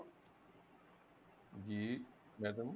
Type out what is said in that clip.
ਜੀ madam